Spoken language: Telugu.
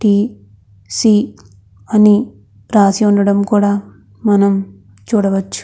టి.సి. అని రాసి ఉండటం కూడా మనం చూడవచ్చు.